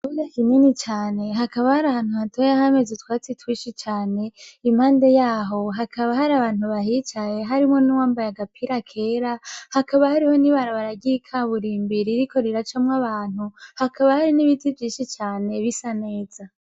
Buga kineni cane hakaba hari ahantu hatoyahameze utwatsi twishi cane impande yaho hakaba hari abantu bahicaye harimo n'uwambaye agapira kera hakaba hariho ni barabaragiye ikaburimbiri riko riracamwo abantu hakaba hari n'ibitivyishi cane bisa neza.